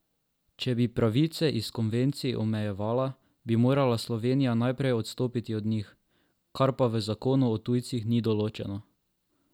Če bi pravice iz konvencij omejevala, bi morala Slovenija najprej odstopiti od njih, kar pa v zakonu o tujcih ni določeno.